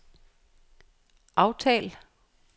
aftal